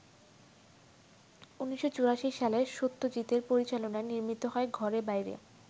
১৯৮৪ সালে সত্যজিতের পরিচালনায় নির্মিত হয় ‘ঘরে বাইরে’।